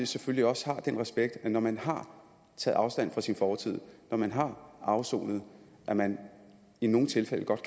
selvfølgelig også den respekt at når man har taget afstand fra sin fortid og når man har afsonet kan man i nogle tilfælde godt